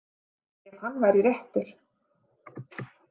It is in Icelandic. Ef hann væri réttur.